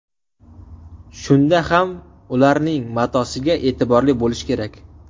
Shunda ham ularning matosiga e’tiborli bo‘lish kerak.